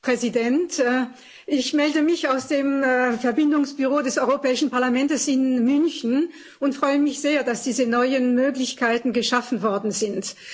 Herr Präsident! Ich melde mich aus dem Verbindungsbüro des Europäischen Parlaments in München und freue mich sehr, dass diese neuen Möglichkeiten geschaffen worden sind.